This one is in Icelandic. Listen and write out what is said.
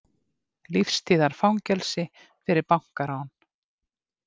Lífstíðarfangelsi fyrir bankarán